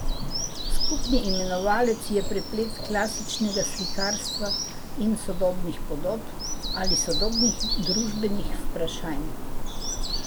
Skupni imenovalec je preplet klasičnega slikarstva in sodobnih podob ali sodobnih družbenih vprašanj.